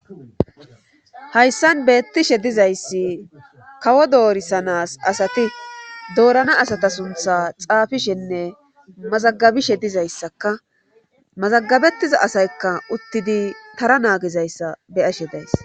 hayssan beettishe dizayssi kawo doorisanas asati doorana asata suntha xaafishenne mazagabishe dizayssakka mazagabettiza asaykka uttidi tara naagizayssa beyashe days